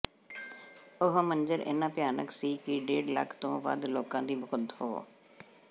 ਉਹ ਮੰਜ਼ਰ ਇੰਨਾ ਭਿਆਨਕ ਸੀ ਕਿ ਡੇਢ ਲੱਖ ਤੋਂ ਵੱਧ ਲੋਕਾਂ ਦੀ ਮੌਤ ਹੋ